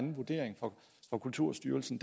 at kulturstyrelsen